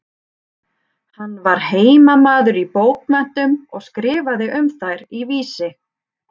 Hann var heimamaður í bókmenntum og skrifaði um þær í Vísi.